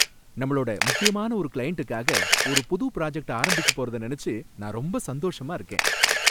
நம்மளோட முக்கியமான ஒரு கிளையண்டுக்காக ஒரு புது ப்ராஜக்ட் ஆரம்பிக்க போறத நனச்சு நான் ரொம்ப சந்தோஷமா இருக்கேன்